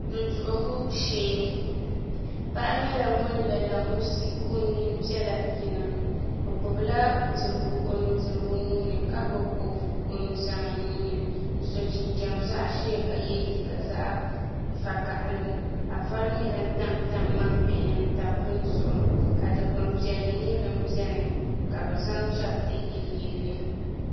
Du duɣugu shee paɣa nyɛla ŋun la la musi ka o nyin piɛla yina o gbubila dirigu o nudirigu nuuni ka gbubi kopu o nuzaa nuuni n so jinjɛm zaɣ ʒiɛ ka yɛ liiga zaɣ vakaɣili ka vari nyɛ din tabtab ŋmani bihi ni n tam bin zuɣu ka dikpuni piɛlli nyɛ din biɛni ka bi zaŋ chɛriti yiliyilli